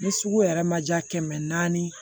Ni sugu yɛrɛ ma diya kɛmɛ naani